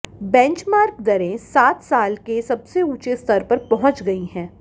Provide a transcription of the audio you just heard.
benchmark दरें सात साल के सबसे ऊंचे स्तर पर पहुंच गई हैं